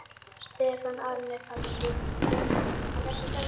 Stefán Árni Pálsson: Fékkstu sjokk?